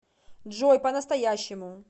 джой по настоящему